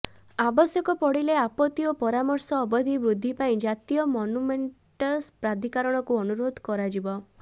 ଆବଶ୍ୟକ ପଡିଲେ ଆପତ୍ତି ଓ ପରାମର୍ଶ ଅବଧି ବୃଦ୍ଧିପାଇଁ ଜାତୀୟ ମନୁମେଣ୍ଟସ୍ ପ୍ରାଧିକରଣକୁ ଅନୁରୋଧ କରାଯିବ